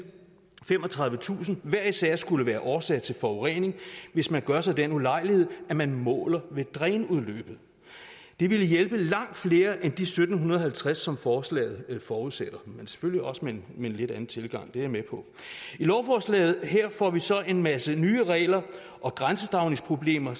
femogtredivetusind hver især skulle være årsag til forurening hvis man gør sig den ulejlighed at man måler ved drænudløbet det ville hjælpe langt flere end de sytten halvtreds som forslaget forudsætter men selvfølgelig også med en lidt anden tilgang det er jeg med på i lovforslaget her får vi så en masse nye regler og grænsedragningsproblemer og